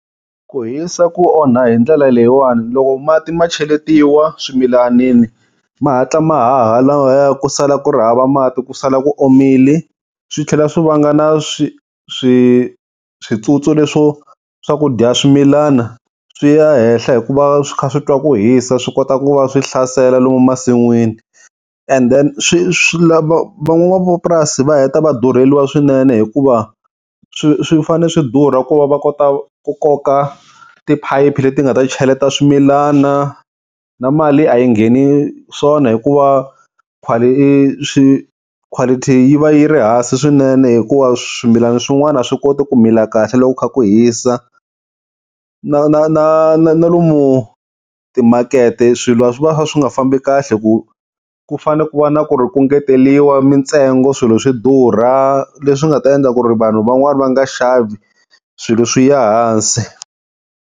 Ku hisa ku onha hi ndlela leyiwani, loko mati ma cheletiwa swimilanini, ma hatla ma haha lawaya ku sala ku ri hava mati ku sala ku omile, swi tlhela swi vanga na switswotswana, leswo swa ku dya swimilana, swi ya henhla hikuva swi kha swi twa ku hisa, swi kota ku va swi hlasela lomu masin'wini, and then swi van'wamapurasi va heta va durheliwa swinene hikuva swi swi fane swi durha ku va va kota ku koka tiphayiphi leti nga ta cheleta swimilana, na mali a yi ngheni swona hikuva quality yi va yi ri hansi swinene hikuva swimilana swin'wana a swi koti ku mila kahle, loko ku kha ku hisa. Na na na na lomu timakete swilo swi va swi kha swi nga fambi kahle, ku ku fane ku va na ku ri ku engeteriwa mintsengo swilo swi durha leswi nga ta endla ku ri vanhu van'wani va nga xavi swilo swi ya hansi.